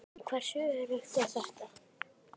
En hversu öruggt er þetta?